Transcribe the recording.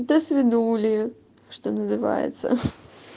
досвидули что называется